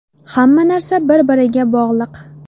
Hamma narsa bir-biriga bog‘liq.